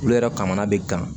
Olu yɛrɛ kamana be dan